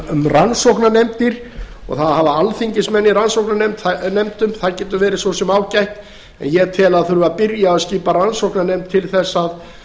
um rannsóknarnefndir og það að hafa alþingismenn í rannsóknarnefndum það getur verið svo sem ágætt en ég tel að það þurfi að byrja að skipa rannsóknarnefnd til